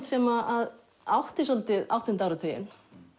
sem átti svolítið áttunda áratuginn